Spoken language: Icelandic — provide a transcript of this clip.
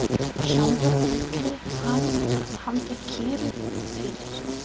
Sjálfur ætlaði hann að halda kyrru fyrir.